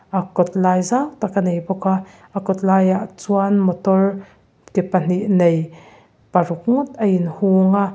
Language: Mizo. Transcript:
ah kawtlai zau tak a nei bawk a a kawt laiah chuan motor ke pahnih nei paruk ngawt a inhung a.